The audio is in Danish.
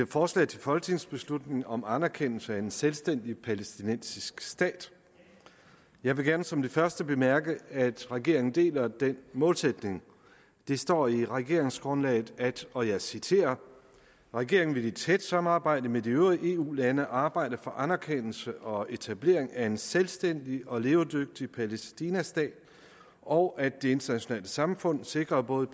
forslag til folketingsbeslutning om anerkendelse af en selvstændig palæstinensisk stat jeg vil gerne som det første bemærke at regeringen deler den målsætning der står i regeringsgrundlaget at og jeg citerer regeringen vil i tæt samarbejde med de øvrige eu lande arbejde for anerkendelse og etablering af en selvstændig og levedygtig palæstina stat og at det internationale samfund sikrer både